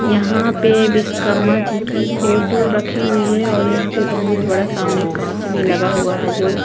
यहाँ पे विश्वकर्मा जी की फोटो रखी हुई है और यहाँ पे बहुत बड़ा सामने कांच भी लगा हुआ है जो--